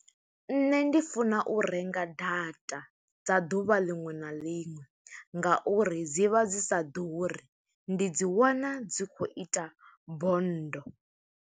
Nṋe ndi funa u renga data dza ḓuvha liṅwe na liṅwe, nga uri dzi vha dzi sa ḓuri. Ndi dzi wana dzi khou ita bonndo.